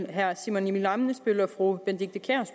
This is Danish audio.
herre simon emil ammitzbøll og fru benedikte kiær